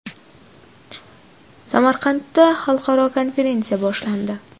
Samarqandda xalqaro konferensiya boshlandi.